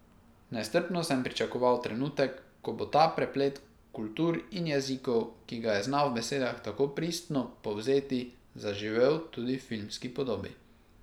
Nestrpno sem pričakoval trenutek, ko bo ta preplet kultur in jezikov, ki ga je znal v besedah tako pristno povzeti, zaživel tudi v filmski podobi.